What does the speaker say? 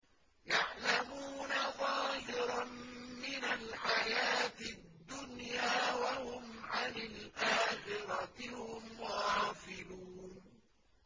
يَعْلَمُونَ ظَاهِرًا مِّنَ الْحَيَاةِ الدُّنْيَا وَهُمْ عَنِ الْآخِرَةِ هُمْ غَافِلُونَ